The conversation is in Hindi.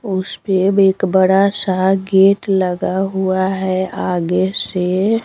उस पे एक बड़ा सा गेट लगा हुआ है आगे से--